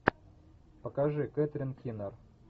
покажи кэтрин кинер